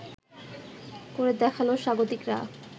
করে দেখালো স্বাগতিকরা